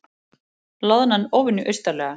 Loðnan óvenju austarlega